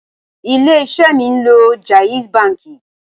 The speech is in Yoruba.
Ilé isẹ́ mi ń lo jaiz banki